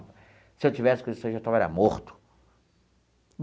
Se eu estivesse com isso aí, eu já estava era morto.